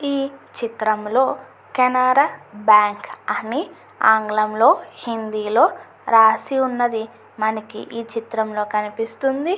ఈ చిత్రం లో కెనరా బ్యాంకు అని ఆంగ్లం లో హిందీ లో రాసి ఉన్నది. మనకి ఈ చిత్రం లో కనిపిస్తుంది.